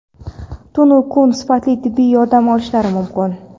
tun-u kun sifatli tibbiy yordam olishlari mumkin.